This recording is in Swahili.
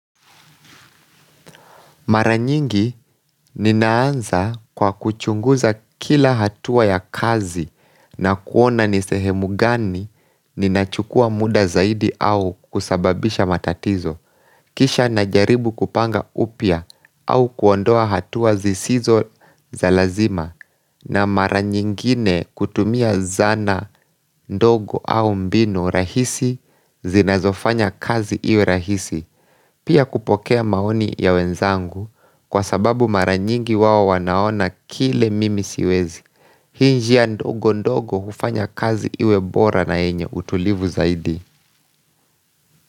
Maranyingi ninaanza kwa kuchunguza kila hatua ya kazi na kuona nisehemu gani ninachukua muda zaidi au kusababisha matatizo, kisha na jaribu kupanga upya au kuondoa hatua zisizo zalazima na maranyingine kutumia zana ndogo au mbinu rahisi zinazofanya kazi iwe rahisi. Pia kupokea maoni ya wenzangu kwa sababu maranyingi wao wanaona kile mimi siwezi Hii njia ndogo ndogo hufanya kazi iwebora na yenye utulivu zaidi.